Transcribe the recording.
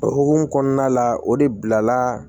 O hukumu kɔnɔna la o de bilala